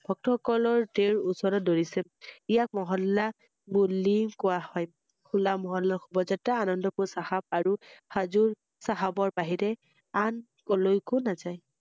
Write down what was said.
ভক্তসকলে তেঁওৰ ওচৰত দৌৰিছিল৷ইয়াক মহল্লা বুলি কোৱা হয়৷হোলা মহল্লা শুভযাএা আনম্দপুৰ চাহাব আৰু হাজোৰ চাহাবৰ বাহিৰে আন ক্‘লৈকো নাযায় ৷